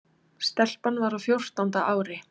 Stelpan var á fjórtánda ári.